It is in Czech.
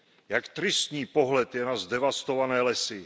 Jak tristní pohled je na zdevastované lesy.